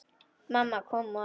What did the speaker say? Mamma kom á eftir.